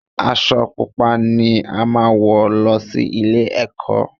Aṣọ Pupa ni a máa wọ̀ lọ sí ilé-ẹ̀kọ́